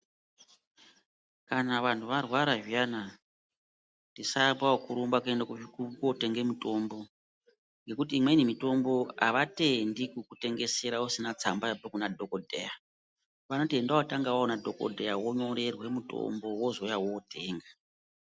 Kana vanhu varwara zviyana, tisaambe kurumba kootenge mutombo, ngekuti imweni mitombo havatendi kukutengesere usina tsamba yabva kunadhogodheya, vanoti enda wootanga waona dhogodheya wonyorerwa mutombo wozouya wotenga.